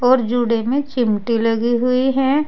और जुड़े में चिमटी लगी हुई हैं।